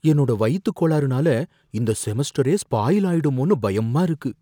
என்னோட வயித்துக் கோளாறுனால இந்த செமஸ்டரே ஸ்பாயில் ஆயிடுமோன்னு பயமா இருக்கு.